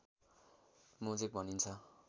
mosaic भनिन्छ